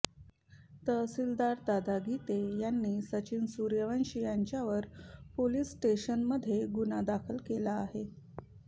तहसिलदार दादा गीते यांनी सचिन सुर्यवंशी याच्यावर police station मध्ये गुन्हा दाखल केला आहे